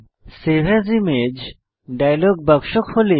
save as image dialog বাক্স খোলে